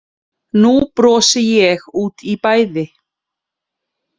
Nú brosi ég út í bæði